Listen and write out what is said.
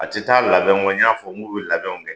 A ti taa labɛn kɔ n y'a fɔ k'u bi labɛnw kɛ